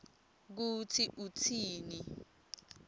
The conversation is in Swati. kutsi utsini